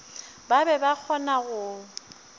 ba be ba kgona go